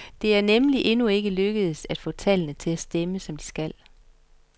Det er nemlig endnu ikke lykkedes, at få tallene til at stemme, som de skal.